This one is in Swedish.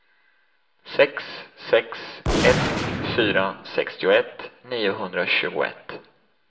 sex sex ett fyra sextioett niohundratjugoett